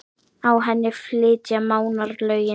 Á henni flytja Mánar lögin